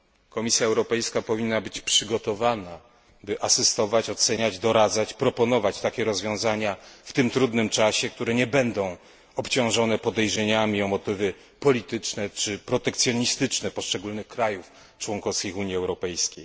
Komisja Europejska powinna być przygotowana, by asystować, oceniać, doradzać, proponować takie rozwiązania w tym trudnym czasie, które nie będą obciążone podejrzeniami o motywy polityczne czy protekcjonistyczne poszczególnych państw członkowskich Unii Europejskiej.